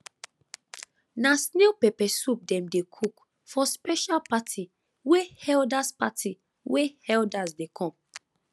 na snail pepper soup dem dey cook for special party wey elders party wey elders dey come